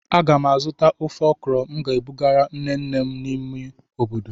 Aga m azụta ofe okra m ga-ebugara nne nne m n'ime obodo.